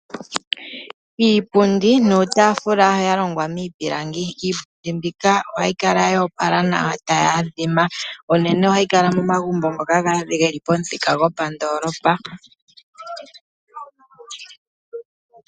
Iipundi nuutaafula yalongwa miipilangi. Iipundi mbika ohayi kala ya opala nawa tayi adhima, uunene ohayi kala momagumbo ngoka geli pomuthika gopandoolopa.